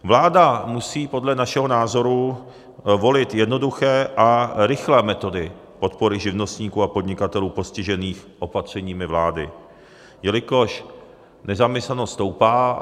Vláda musí podle našeho názoru volit jednoduché a rychlé metody podpory živnostníků a podnikatelů postižených opatřeními vlády, jelikož nezaměstnanost stoupá.